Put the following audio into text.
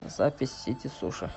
запись сити суши